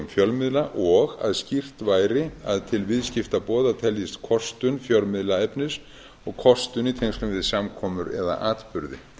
fjölmiðla og að skýrt væri að til viðskiptaboða teljist kostun fjölmiðlaefnis og kostun í tengslum við samkomur eða atburði